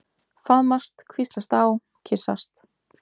Faðmast, hvíslast á, kyssast.